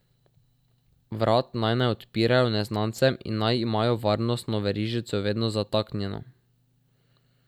Vrat naj ne odpirajo neznancem in naj imajo varnostno verižico vedno zataknjeno.